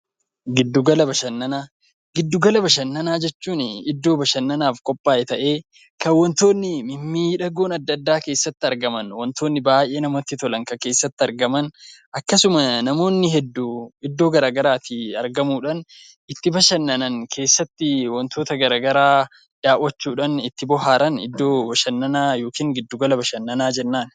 Giddu Gala Bashannanaa Giddu gala bashannanaa jechuun iddoo bashannanaaf qophaa'e ta'ee kan wantoonni mimmiidhagoon adda addaa keessatti argaman, wantoonni baay'ee namatti tolan kan keessatti argaman, akkasuma namoonni hedduu iddoo garaagaraatii argamuudhaan itti bashannanan, keessatti wantoota garaagaraa daawwachuudhaan itti bohaaran iddoo bashannanaa (giddugala bashannanaa) jennaan.